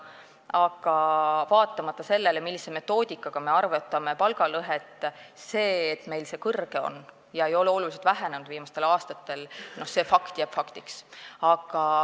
Aga vaatamata sellele, millise metoodikaga me palgalõhet arvutame, see fakt, et meil on see lõhe suur ega ole viimastel aastatel oluliselt vähenenud, jääb faktiks.